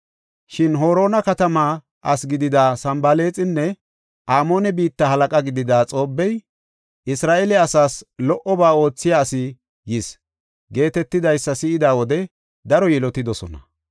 Shin Horoona katama asi gidida Sanbalaaxinne Amoone biitta halaqa gidida Xoobbey, “Isra7eele asaas lo77oba oothiya asi yis” geetetidaysa si7ida wode daro yilotidosona.